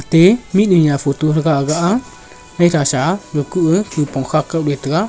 te mihnu nya photo thaga aga a maitha sa ga kuh a nepong kha kao taiga.